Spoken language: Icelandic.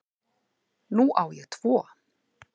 Nú á ég tvo